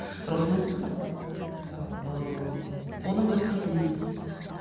росмендікі сатылады ммм мысалы ыыы оның өзі тегін емес мхм